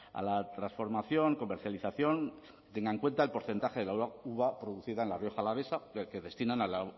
a la transformación comercialización tenga en cuenta el porcentaje de la uva producida en la rioja alavesa que destinan a la